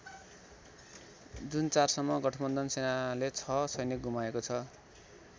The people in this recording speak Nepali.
जुन ४ सम्म गठबन्धन सेनाले ६ सैनिक गुमाएको छ।